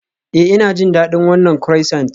Ee, Ina jin daɗin wannan croissant.